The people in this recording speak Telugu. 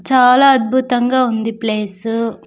చాలా అద్భుతంగా ఉంది ప్లేసు .